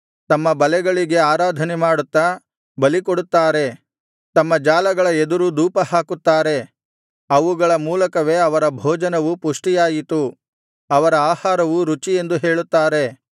ತಮ್ಮ ಬಲೆಗಳಿಗೆ ಆರಾಧನೆ ಮಾಡುತ್ತಾ ಬಲಿ ಕೊಡುತ್ತಾರೆ ತಮ್ಮ ಜಾಲಗಳ ಎದುರು ಧೂಪಹಾಕುತ್ತಾರೆ ಅವುಗಳ ಮೂಲಕವೇ ಅವರ ಭೋಜನವು ಪುಷ್ಟಿಯಾಯಿತು ಅವರ ಆಹಾರವು ರುಚಿ ಎಂದು ಹೇಳುತ್ತಾರೆ